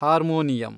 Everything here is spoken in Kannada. ಹಾರ್ಮೋನಿಯಂ